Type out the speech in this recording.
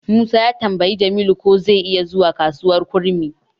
Musa ya tambayi Jamilu ko zai iya zuwa kasuwar kurmi.